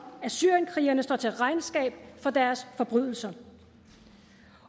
at syrienkrigerne står til regnskab for deres forbrydelser